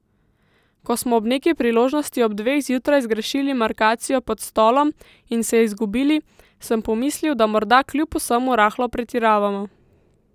Ko smo ob neki priložnosti ob dveh zjutraj zgrešili markacijo pod Stolom in se izgubili, sem pomislil, da morda kljub vsemu rahlo pretiravamo.